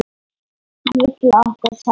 Hann vill, að okkur semji.